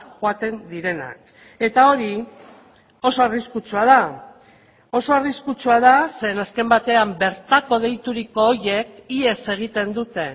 joaten direnak eta hori oso arriskutsua da oso arriskutsua da zeren azken batean bertako deituriko horiek ihes egiten dute